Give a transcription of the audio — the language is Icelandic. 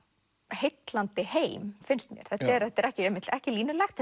heillandi heim finnst mér þetta er þetta er ekki ekki línulegt